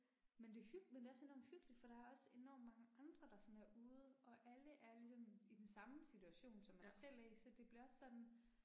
Men det er hyg, men det er også enormt hyggeligt for der er også enormt mange andre der sådan er ude og alle er ligesom i den samme situation som man selv er i, så det bliver også sådan